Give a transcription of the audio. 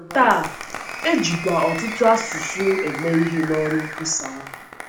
Taa, e jikwa ọtụtụ asụsụ eme ihe n’ọrụ nkwusa n’ọrụ nkwusa ahụ.